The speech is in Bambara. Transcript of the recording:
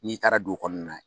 N'i taara dugu kɔnɔna na